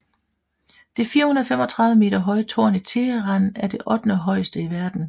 Det 435 meter høje tårn i Teheran er det ottende højeste i verden